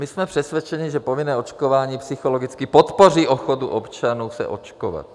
My jsme přesvědčeni, že povinné očkování psychologicky podpoří ochotu občanů se očkovat.